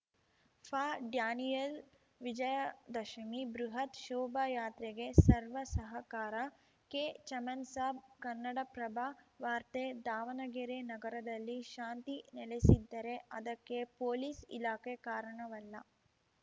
ಫಾಡ್ಯಾನಿಯಲ್‌ ವಿಜಯದಶಮಿ ಬೃಹತ್‌ ಶೋಭಾಯಾತ್ರೆಗೆ ಸರ್ವ ಸಹಕಾರ ಕೆ ಚಮನ್‌ಸಾಬ್‌ ಕನ್ನಡಪ್ರಭ ವಾರ್ತೆ ದಾವಣಗೆರೆ ನಗರದಲ್ಲಿ ಶಾಂತಿ ನೆಲೆಸಿದ್ದರೆ ಅದಕ್ಕೆ ಪೊಲೀಸ್‌ ಇಲಾಖೆ ಕಾರಣವಲ್ಲ